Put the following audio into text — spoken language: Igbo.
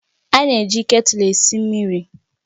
A na-eji ketulu esi mmiri